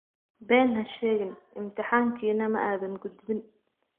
Been ha sheegin, imtixaankiina ma aadan gudbin